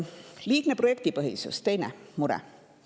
Liigne projektipõhisus on teine mure.